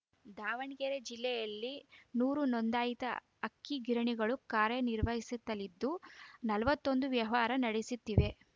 ದಾವಣಗೆರೆ ಜಿಲ್ಲೆಯಲ್ಲಿ ನೂರು ನೋಂದಾಯಿತ ಅಕ್ಕಿಗಿರಣಿಗಳು ಕಾರ್ಯ ನಿರ್ವಹಿಸುತ್ತಲಿದ್ದು ನಲವತ್ತೊಂದು ವ್ಯವಹಾರ ನಡೆಸಿತ್ತಿವೆ